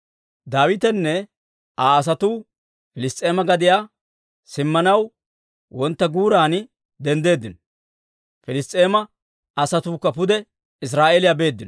Daawitenne Aa asatuu Piliss's'eema gadiyaa simmanaw wontta guuran denddeeddino; Piliss's'eema asatuukka pude Iziraa'eela beeddino.